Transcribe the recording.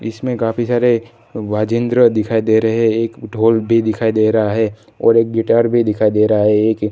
इसमें काफी सारे वाजेंद्र दिखाई दे रहे हैं एक ढोल भी दिखाई दे रहा है और एक गिटार भी दिखाई दे रहा है एक--